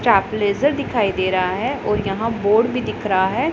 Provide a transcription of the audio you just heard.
चाप ब्लेजर दिखाई दे रहा है और यहां बोर्ड भी दिख रहा है।